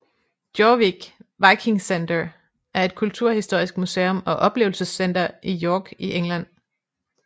Jorvik Viking Centre er et kulturhistorisk museum og oplevelsescenter i York i England